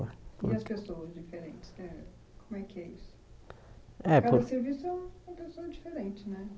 E as pessoas diferentes eh como é que é É por Cada serviço é um uma pessoa diferente, né?